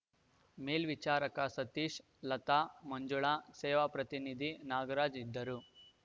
ಮೇಲ್ವಿಚಾರಕ ಸತೀಶ್‌ ಲತಾ ಮಂಜುಳಾ ಸೇವಾ ಪ್ರತಿನಿಧಿ ನಾಗರಾಜ್‌ ಇದ್ದರು